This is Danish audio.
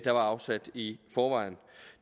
er afsat i forvejen